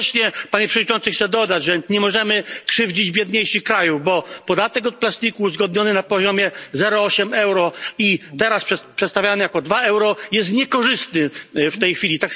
Równocześnie, Panie Przewodniczący, chcę dodać, że nie możemy krzywdzić biedniejszych krajów, bo podatek od plastiku uzgodniony na poziomie 0,8 euro i teraz przedstawiany jako 2 euro jest niekorzystny w tej chwili.